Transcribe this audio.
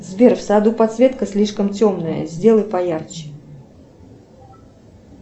сбер в саду подсветка слишком темная сделай поярче